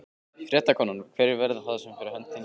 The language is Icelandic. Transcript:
Fréttakona: Hverjir verða það fyrir hönd þíns flokks?